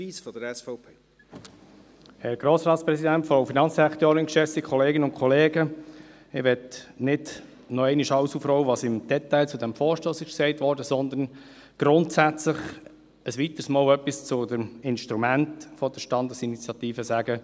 Ich möchte nicht im Detail alles nochmals aufrollen, was zu diesem Vorstoss gesagt wurde, sondern ein weiteres Mal etwas Grundsätzliches zum Instrument der Standesinitiative sagen.